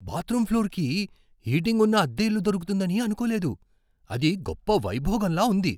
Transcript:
Bathroom ఫ్లోర్కి heating ఉన్న అద్దె ఇల్లు దొరుకుతుందని అనుకోలేదు. అది గొప్ప వైభోగంలా ఉంది!